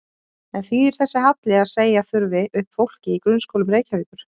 En þýðir þessi halli að segja þurfi upp fólki í grunnskólum Reykjavíkur?